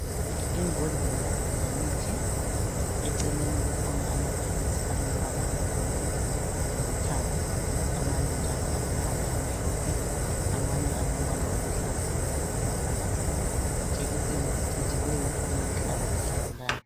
Imbodlela zemithi ,eceleni kukhona amaphilisi alombala obomvu lolithanga amanye njalo alombala omhlophe amanye alombala oluhlaza okwesibhakabhaka. Ijekiseni ecijileyo eyokuhlaba isigulane.